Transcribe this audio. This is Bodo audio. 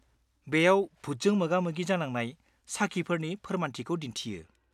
-बेयाव भुटजों मोगा-मोगि जानांनाय साखिफोरनि फोरमायथिखौ दिन्थियो।